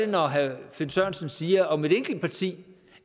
når herre finn sørensen siger om et enkelt parti